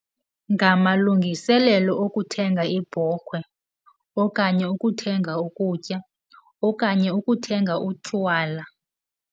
Ngamalungiselelo okuthenga ibhokhwe okanye ukuthenga ukutya okanye ukuthenga utywala.